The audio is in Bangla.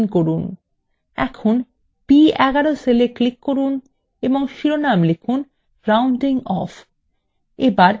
এখন b11 cell এ click করুন এবং শিরোনাম লিখুন rounding অফ